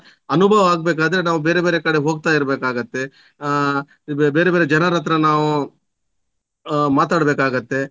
ಅನುಭವ ಆಗ್ಬೇಕಾದ್ರೆ ನಾವು ಬೇರೆ ಬೇರೆ ಕಡೆ ಹೋಗ್ತಾ ಇರ್ಬೇಕಾಗುತ್ತೆ. ಆ ಬೇರೆ ಬೇರೆ ಜನರ ಹತ್ರ ನಾವು ಆ ಮಾತಾಡಬೇಕಾಗುತ್ತೆ.